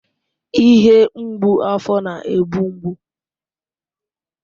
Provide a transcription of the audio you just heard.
Ihe mgbu afọ na-egbu mgbu